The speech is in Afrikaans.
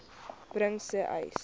bring sê uys